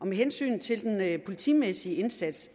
med hensyn til den politimæssige indsats